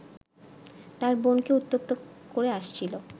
তার বোনকে উত্ত্যক্ত করে আসছিল